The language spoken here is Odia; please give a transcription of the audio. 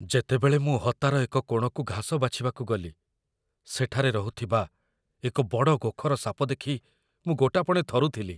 ଯେତେବେଳେ ମୁଁ ହତାର ଏକ କୋଣକୁ ଘାସ ବାଛିବାକୁ ଗଲି, ସେଠାରେ ରହୁଥିବା ଏକ ବଡ଼ ଗୋଖର ସାପ ଦେଖି ମୁଁ ଗୋଟାପଣେ ଥରୁଥିଲି।